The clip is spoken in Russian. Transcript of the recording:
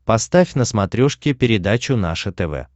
поставь на смотрешке передачу наше тв